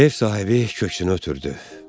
Ev sahibi köksünü ötürdü.